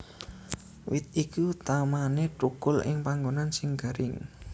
Wit iki utamané thukul ing panggonan sing garing